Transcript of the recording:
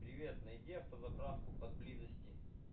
привет найди автозаправку поблизости